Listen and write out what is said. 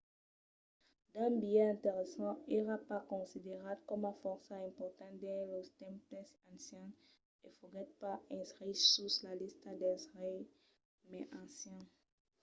d'un biais interessant èra pas considerat coma fòrça important dins los tempses ancians e foguèt pas inscrich sus la lista dels reis mai ancians